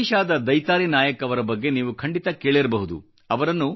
ಒಡಿಶಾದ ದೈತಾರಿ ನಾಯಕ್ ಅವರ ಬಗ್ಗೆ ನೀವು ಖಂಡಿತ ಕೇಳಿರಬಹುದು